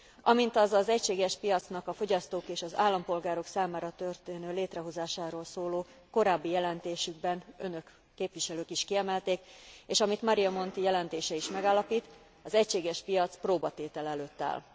Amint azt az egységes piacnak a fogyasztók és az állampolgárok számára történő létrehozásáról szóló korábbi jelentésükben Önök, képviselők is kiemelték, és amit Mario Monti jelentése is megállapít az egységes piac próbatétel előtt áll.